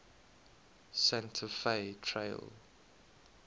santa fe trail